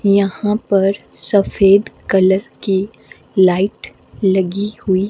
यहां पर सफेद कलर की लाइट लगी हुई--